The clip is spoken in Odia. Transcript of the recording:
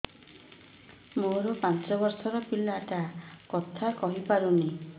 ମୋର ପାଞ୍ଚ ଵର୍ଷ ର ପିଲା ଟା କଥା କହି ପାରୁନି